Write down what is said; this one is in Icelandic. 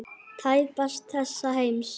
Tæpast þessa heims.